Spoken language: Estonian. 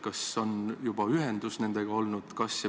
Kas nendega on juba ühendust võetud?